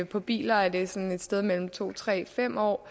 på biler er det sådan et sted mellem to tre fem år